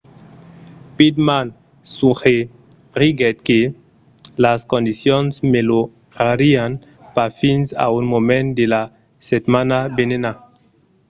pittman suggeriguèt que las condicions melhorarián pas fins a un moment de la setmana venenta